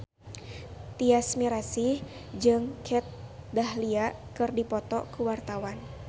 Tyas Mirasih jeung Kat Dahlia keur dipoto ku wartawan